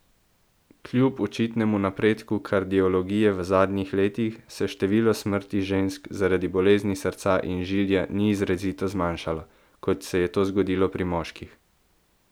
Kljub očitnemu napredku kardiologije v zadnjih letih se število smrti žensk zaradi bolezni srca in žilja ni izrazito zmanjšalo, kot se je to zgodilo pri moških.